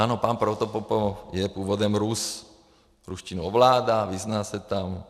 Ano, pan Protopopov je původem Rus, ruštinu ovládá, vyzná se tam.